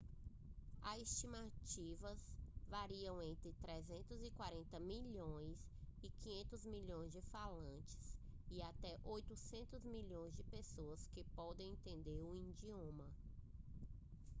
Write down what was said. as estimativas variam entre 340 milhões e 500 milhões de falantes e até 800 milhões de pessoas podem entender o idioma